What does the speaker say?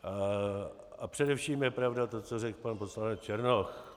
A především je pravda to, co řekl pan poslanec Černoch.